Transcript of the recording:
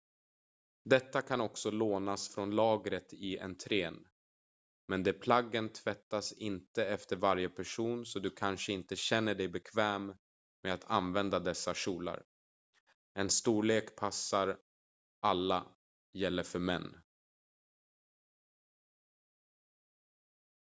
detta kan också lånas från lagret i entrén men de plaggen tvättas inte efter varje person så du kanske inte känner dig bekväm med att använda dessa kjolar en storlek passar alla gäller för män